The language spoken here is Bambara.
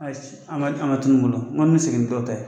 Ayi an ka an ka tunun n ko an bɛ segin ni dɔ ta ye.